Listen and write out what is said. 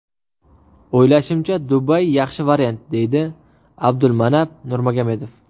O‘ylashimcha, Dubay yaxshi variant”, deydi Abdulmanap Nurmagomedov.